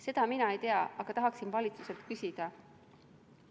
Seda mina ei tea, aga tahaksin valitsuselt küsida.